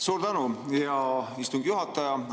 Suur tänu, hea istungi juhataja!